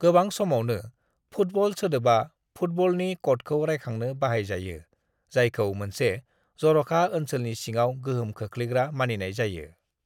"गोबां समावनो, 'फुटबल' सोदोबा फुटबलनि कडखौ रायखांनो बाहाय जायो जायखौ मोनसे जर'खा ओनसोलनि सिङाव गोहोम खोख्लैग्रा मानिनाय जायो।"